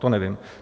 To nevím.